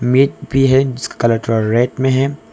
भी है जिसका कलर थोड़ा रेड में है।